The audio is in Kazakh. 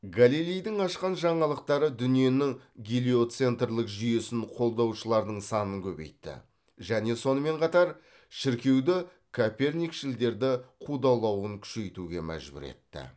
галилейдің ашқан жаңалықтары дүниенің гелиоцентрлік жүйесін қолдаушылардың санын көбейтті және сонымен қатар шіркеуді коперникшілдерді қудалауын күшейтуге мәжбүр етті